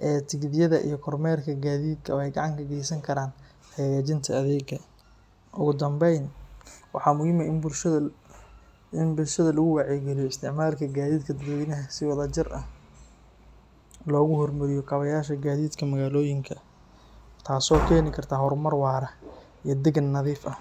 ee tigidhada iyo kormeerka gaadiidka waxay gacan ka geysan karaan hagaajinta adeegga. Ugu dambayn, waxaa muhiim ah in bulshada lagu wacyigeliyo isticmaalka gaadiidka dadweynaha si wadajir ah loogu hormariyo kabayasha gaadiidka magaalooyinka, taasoo keeni karta horumar waara iyo deegaan nadiif ah.